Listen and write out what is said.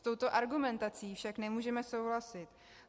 S touto argumentací však nemůžeme souhlasit.